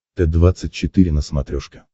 т двадцать четыре на смотрешке